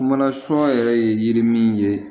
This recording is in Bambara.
Mana son yɛrɛ ye yiri min ye